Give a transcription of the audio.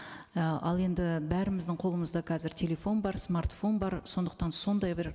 і ал енді бәріміздің қолымызда қазір телефон бар смартфон бар сондықтан сондай бір